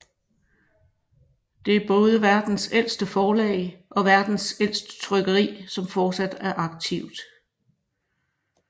Det er både verdens ældste forlag og verdens ældste trykkeri som fortsat er aktivt